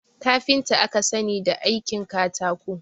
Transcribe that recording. Kafinta aka sani da aikin katako